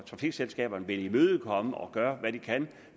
trafikselskaberne vil imødekomme det og gøre hvad de kan